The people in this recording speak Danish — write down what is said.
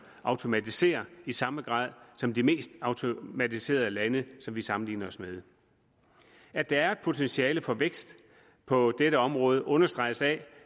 automatiserer i samme grad som de mest automatiserede lande vi sammenligner os med at der er et potentiale for vækst på dette område understreges af